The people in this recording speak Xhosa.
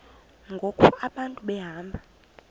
ngoku abantu behamba